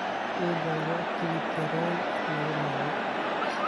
I dalbo tigidh tareen laguraco